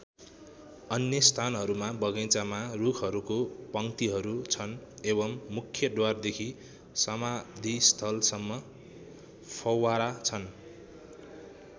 अन्य स्थानहरूमा बगैँचामा रुखहरूको पङ्क्तिहरू छन् एवम् मुख्य द्वारदेखि समाधिस्थल सम्म फौव्वारा छन्।